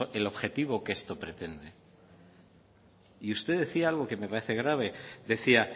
el objetivo que esto pretende y usted decía algo que me parece grave decía